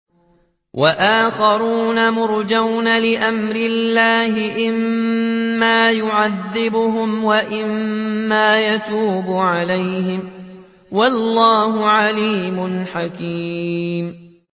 وَآخَرُونَ مُرْجَوْنَ لِأَمْرِ اللَّهِ إِمَّا يُعَذِّبُهُمْ وَإِمَّا يَتُوبُ عَلَيْهِمْ ۗ وَاللَّهُ عَلِيمٌ حَكِيمٌ